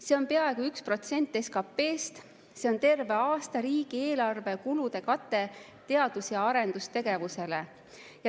See on peaaegu 1% SKP‑st. See on terve aasta riigieelarve kulude kate teadus‑ ja arendustegevusele.